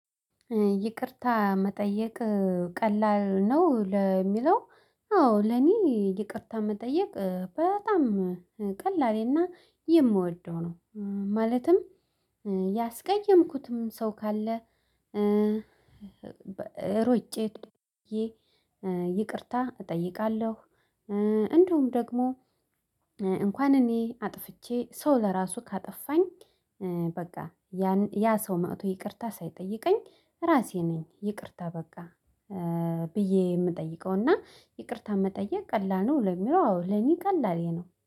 ይቅርታ መጠየቅ ቀላል ነው? ለሚለው አዎ ለኔ ይቅርታ መጠየቅ በጣም ቀላሌ እና የምወደው ነው ማለትም ያስቀየምኩትም ሰው ካለ ሮጬ ይቅርታ እጠይቃለሁ እንደውም ደግሞ እንኳን እኔ አጥፍቼ ሰው ለራሱ ካጠፋኝ በቃ ያ ሰው ማዕቱ ይቅርታ ሳይጠይቀኝ ራሴ ነኝ ይቅርታ በቃ ብዬ የምጠይቀው እና ይቅርታ መጠየቅ ቀላ ነው ለሚለው አዎ ለኔ ቀላል የኔ ነው